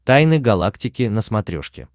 тайны галактики на смотрешке